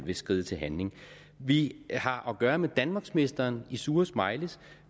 vil skride til handling vi har at gøre med danmarksmesteren i sure smileys